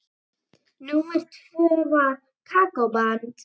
Númer tvö var Kókó-band.